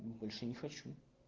больше не хочу